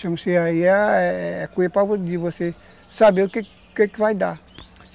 Chamam-se aí, é cuia para você saber o que que vai dar.